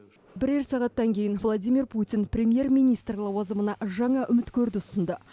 бірер сағаттан кейін владимир путин премьер министр лауазымына жаңа үміткөрді ұсынды